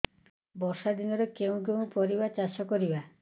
ବର୍ଷା ଦିନରେ କେଉଁ କେଉଁ ପରିବା ଚାଷ କରିବା